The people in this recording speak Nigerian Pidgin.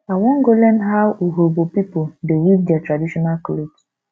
i wan go learn how urhobo pipo dey weave their traditional cloth